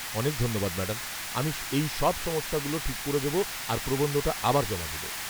অনেক ধন্যবাদ ম্যাডাম, আমি এই সব সমস্যাগুলো ঠিক করে দেব আর প্রবন্ধটা আবার জমা দেব।